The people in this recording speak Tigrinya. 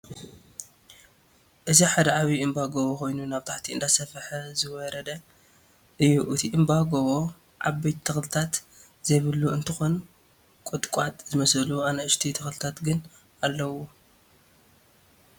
እዚ ሓደ ዓብየ እምባ (ጎቦ) ኮይኑ ናብ ታሕቲ እንዳሰፍሐ ዝዌሬደ እዩ እቲ እምባ (ጎቦ) ዓበይቲ ተክሊታት ዘይብሉ እንትኮን ቆጥቋጥ ዝመስሉ አናኡሽተይ ተክልታት ግን አለዉዎ፡፡